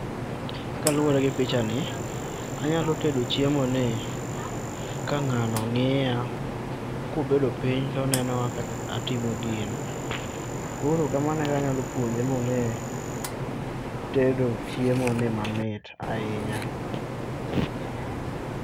Kaluore gi picha ni anyalo tedo chiemo ni ka ng'ano ng'iya kobedo piny toneno kaka atimo gino. Koro kamano e kaka anyalo puonje monge tedo chiemo ni mamit ahinya